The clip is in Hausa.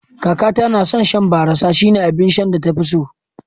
Kakata na son shan barassa, shine abin sha da ta fi so